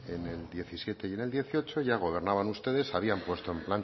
en el diecisiete y en el dieciocho ya gobernaban ustedes habían puesto